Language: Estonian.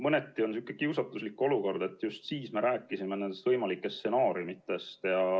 Mõneti on see kiusatuslik olukord, sest just siis me rääkisime nendest võimalikest stsenaariumidest.